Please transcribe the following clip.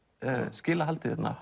skila haldið hérna